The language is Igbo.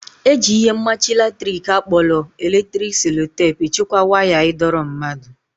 Eji ihe mmachi latrik akpọrọ electric sellotape echekwa waya ịdọrọ mmadụ